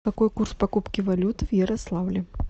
какой курс покупки валют в ярославле